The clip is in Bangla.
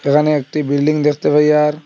এখানে একটি বিল্ডিং দেখতে পাই আর--